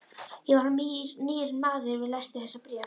Ég varð nýr maður við lestur þessa bréfs.